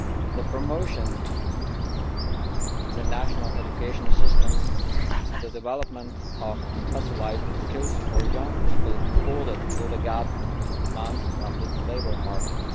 the promotion in national education systems of the development of specialised skills for young people in order to fill the gaps in demand on the labour market